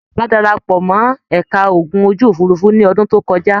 Àlàbá dara pọ̀ mọ́ ẹ̀ka ogun ojú-òfurufú ní ọdún tó kọjá.